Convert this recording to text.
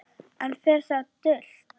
Enn fer það dult